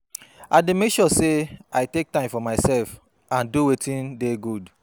I dey make sure say i take time for myself and do wetin dey good.